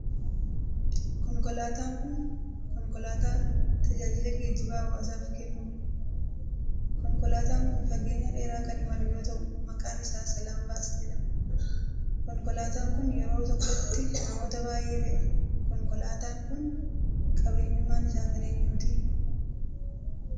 Konkolaataan kun, konkolaataa tajaajila geejibaa hawaasaf kennuu dha. Konkolaataan kun fageenya dheeraa kan imalu yoo ta'u, maqqan isaa Salaam Baas jedhama. Konkolaataan kun, yeroo tokkotti namoota baay'ee fe'a. Konkolaataan kun, qabeenyummaan isaa kan eenyuti?